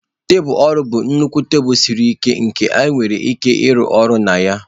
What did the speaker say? Tebụl ọrụ bụ nnukwu tebụl siri ike nke ị nwere ike ịrụ ọrụ na ya.